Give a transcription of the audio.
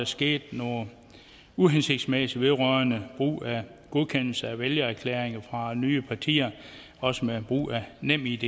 skete noget uhensigtsmæssigt vedrørende godkendelse af vælgererklæringer fra nye partier også med brug af nemid